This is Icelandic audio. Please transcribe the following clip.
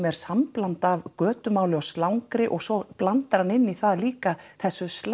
er sambland af götumáli og slangri og svo blandar hann inn í það líka þessu